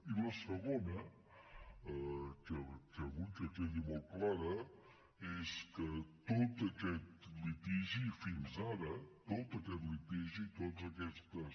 i la segona que vull que quedi molt clara és que tot aquest litigi fins ara tot aquest litigi totes aquestes